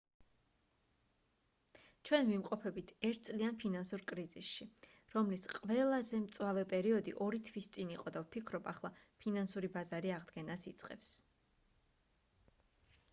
ჩვენ ვიმყოფებით ერთ წლიან ფინანსურ კრიზისში რომლის ყველაზე მწვავე პერიოდი ორი თვის წინ იყო და ვფიქრობ ახლა ფინანსური ბაზარი აღდგენას იწყებს